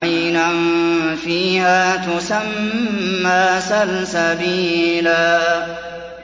عَيْنًا فِيهَا تُسَمَّىٰ سَلْسَبِيلًا